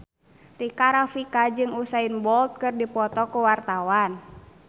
Rika Rafika jeung Usain Bolt keur dipoto ku wartawan